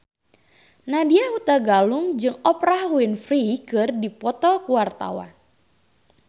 Nadya Hutagalung jeung Oprah Winfrey keur dipoto ku wartawan